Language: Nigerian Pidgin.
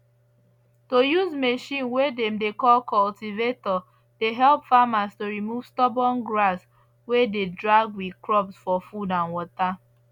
to use machine way dem dey call cultivator dey help farmers to remove stubborn grass way dey drag with crops for food and water